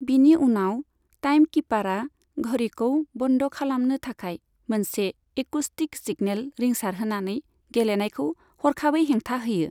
बिनि उनाव टाइमकीपारआ घड़ीखौ बन्द खालामनो थाखाय मोनसे एकुस्टिक सिगनेल रिंसार होनानै गेलेनायखौ हरखाबै हेंथा होयो।